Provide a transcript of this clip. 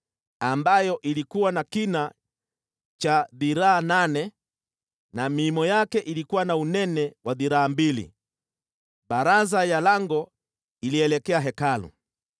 ambayo ilikuwa na kina cha dhiraa nane na miimo yake ilikuwa na unene wa dhiraa mbili. Baraza ya lango ilielekea Hekalu.